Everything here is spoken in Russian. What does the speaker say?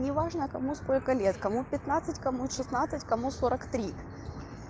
неважно кому сколько лет кому пятнадцать кому шестнадцать кому сорок три